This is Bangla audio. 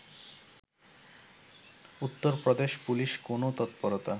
উত্তরপ্রদেশ পুলিশ কোনও তৎপরতা